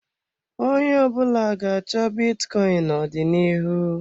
Onye ọbụla ga-achọ bitcoin n'ọdịnihu.